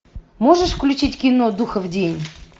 можешь включить кино духов день